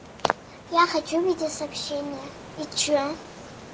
я хочу увидеть сообщение и что